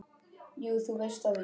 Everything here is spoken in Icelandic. Jú, þú veist það víst.